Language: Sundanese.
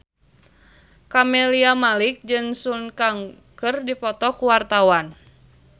Camelia Malik jeung Sun Kang keur dipoto ku wartawan